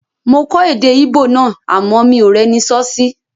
Mo kọ́ èdè Íbò náà àmọ́ mi ò rẹ́ni sọ́ sí